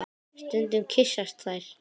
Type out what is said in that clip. Stundum kyssast þær.